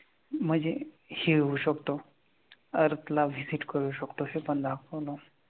म्हणजे हे होऊ शकतो अर्थला visit करू शकतो असं पण दाखवणार.